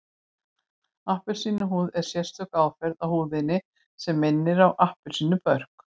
Appelsínuhúð er sérstök áferð á húðinni sem minnir á appelsínubörk